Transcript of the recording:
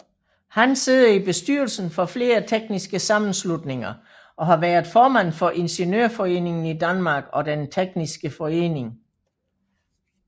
Han sidder i bestyrelsen for flere tekniske sammenslutninger og har været formand for Ingeniørforeningen i Danmark og Den tekniske Forening